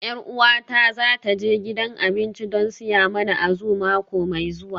Yar uwata za ta je gidan abinci don siya mana Azu mako mai zuwa